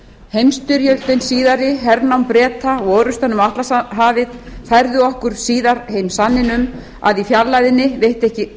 heimsstyrjöldin síðari hernám breta og orrustan um atlantshafið færðu okkur síðar heim sanninn um að í